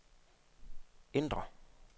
ændr